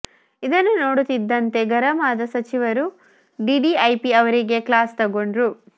ಇದನ್ನು ನೋಡುತ್ತಿದ್ದಂತೆ ಗರಂ ಆದ ಸಚಿವರು ಡಿಡಿಐಪಿ ಅವರಿಗೆ ಕ್ಲಾಸ್ ತಗೊಂಡ್ರು